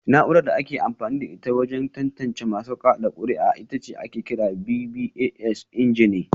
Na’urar da ake amfani da ita wajen tantance masu kada kuri’a ita ake kira BVAS ingeni